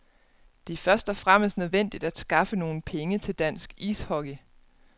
Det er først og fremmest nødvendigt at skaffe nogle penge til dansk ishockey.